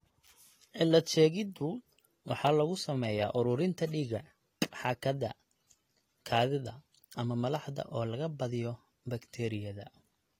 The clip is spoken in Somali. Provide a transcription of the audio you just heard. Cilad-sheegiddu waxa lagu sameeyaa ururinta dhiigga, xaakada, kaadida, ama malaxda oo la badiyo bakteeriyada.